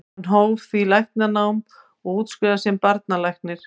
Hann hóf því læknanám og útskrifaðist sem barnalæknir.